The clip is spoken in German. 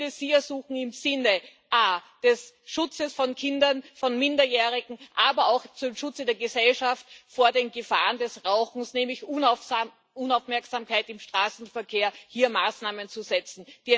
Ich würde Sie ersuchen, im Sinne des Schutzes von Kindern, von Minderjährigen, aber auch zum Schutze der Gesellschaft vor den Gefahren des Rauchens, nämlich Unaufmerksamkeit im Straßenverkehr, hier Maßnahmen zu setzen.